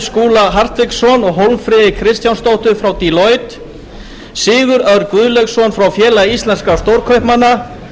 skúla hartvigsson og hólmfríði kristjánsdóttur frá deloitte sigurð örn guðleifsson frá félagi íslenskra stórkaupmanna